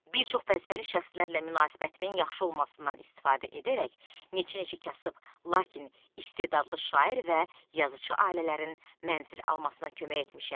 Bir çox vəzifəli şəxslərlə münasibətimin yaxşı olmasından istifadə edərək neçə-neçə kasıb, lakin istedadlı şair və yazıçı ailələrin mənzil almasına kömək etmişəm.